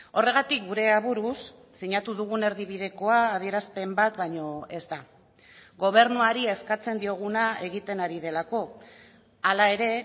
horregatik gure aburuz sinatu dugun erdibidekoa adierazpen bat baino ez da gobernuari eskatzen dioguna egiten ari delako hala ere